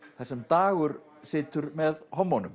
þar sem Dagur situr með